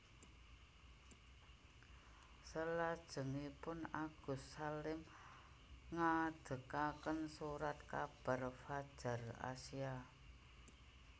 Selajengipun Agus Salim ngadegaken Surat kabar Fadjar Asia